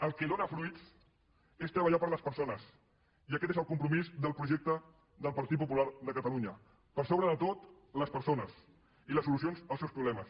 el que dóna fruits és treballar per a les persones i aquest és el compromís del projecte del partit popular de catalunya per sobre de tot les persones i les solucions als seus problemes